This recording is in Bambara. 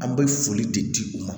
An bɛ foli de di u ma